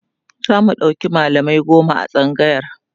zamu ɗauki mallamai goma a tsangayar